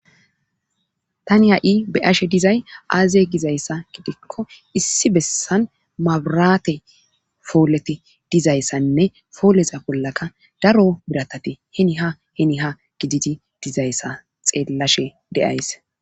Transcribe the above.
Tani ha'i be'ashe diza aaze giza issa giddikko, issi bessan mabiraate pooleti diza issanne pooleta bollaka daro biratate hinn ha hinn ha gididi diza issa xeellashe de'ays.